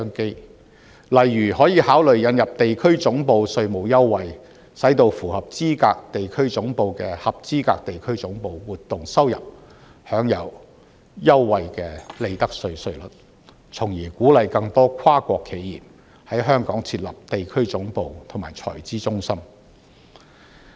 舉例來說，當局可以考慮引入地區總部稅務優惠，使到符合資格地區總部的合資格地區總部活動收入，享有優惠的利得稅稅率，從而鼓勵更多跨國企業在香港設立地區總部及財資中心。